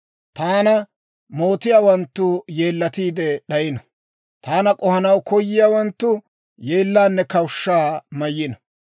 Taana mootiyaawanttu yeellatiide d'ayino. Taana k'ohanaw koyiyaawanttu, yeellaanne kawushshaa mayino.